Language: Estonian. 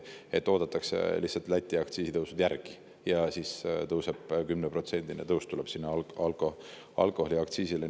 Nüüd oodatakse lihtsalt Läti aktsiisitõusud ära ja siis tuleb 10%‑line alkoholiaktsiisi tõus.